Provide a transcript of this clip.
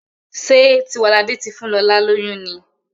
Ṣe Tiwalade tí fún lọla lóyún ní?